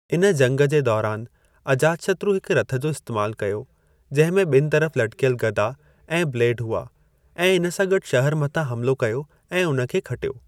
इन जंगु जे दौरान, अजातशत्रु हिक रथ जो इस्तैमालु कयो, जिंहिं में बि॒यनि तरफ़ लटकियल गदा ऐं ब्लेड हुआ ऐं इन सां गॾु शहर मथां हमलो कयो ऐं हुन खे खटियो।